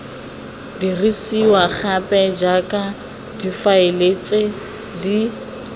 dirisiwa gape jaaka difaele di